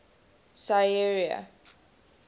sierra